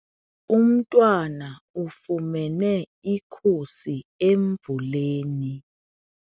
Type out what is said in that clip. Umntwana ufumene ikhusi emvuleni.